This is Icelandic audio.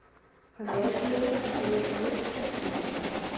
Hann er ótrúlegur og býður upp á mikið skemmtanagildi.